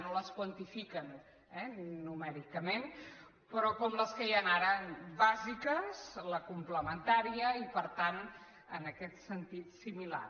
no les quantifiquen eh numèricament però com les que hi han ara bàsiques la complementària i per tant en aquest sentit similar